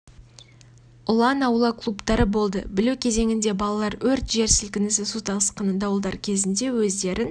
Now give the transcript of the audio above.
ұлан аула клубтары болды білу кезеңінде балалар өрт жер сілкінісі су тасқыны дауылдар кезінде өздерін